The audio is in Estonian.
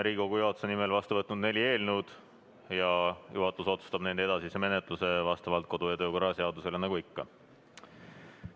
Riigikogu juhatus on vastu võtnud neli eelnõu ja juhatus otsustab nende edasise menetluse vastavalt kodu- ja töökorra seadusele, nagu ikka.